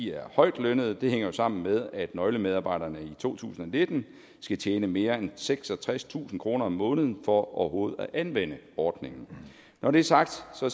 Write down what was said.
er højtlønnede og det hænger jo sammen med at nøglemedarbejderne i to tusind og nitten skal tjene mere end seksogtredstusind kroner om måneden for overhovedet at anvende ordningen når det er sagt